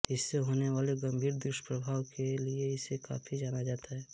इससे होने वाले गंभीर दुष्प्रभाव के लिए इसे काफी जाना जाता है